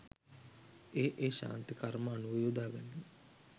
ඒ ඒ ශාන්ති කර්ම අනුව යොදා ගනී